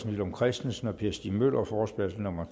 villum christensen og per stig møller forespørgsel nummer